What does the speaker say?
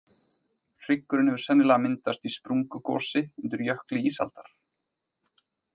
Hryggurinn hefur sennilega myndast í sprungugosi undir jökli ísaldar.